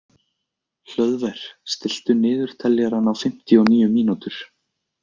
Hlöðver, stilltu niðurteljara á fimmtíu og níu mínútur.